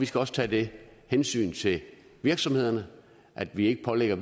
skal også tages det hensyn til virksomhederne at vi ikke pålægger